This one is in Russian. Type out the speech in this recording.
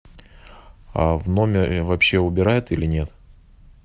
а в номере вообще убирают или нет